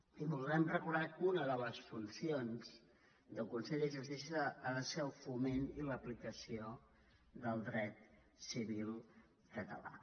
i volem recordar que una de les funcions del consell de justícia ha de ser el foment i l’aplicació del dret civil català